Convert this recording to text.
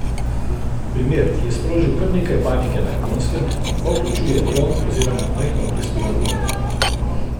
Primer, ki je sprožil kar nekaj panike na Japonskem, pa vključuje dron oziroma majhno brezpilotno letalo.